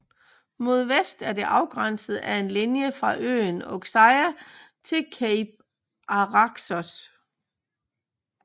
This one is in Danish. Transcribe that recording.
Mod vest er det afgrænset af en linje fra øen Oxeia til Cape Araxos